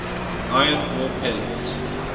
iron ore pellets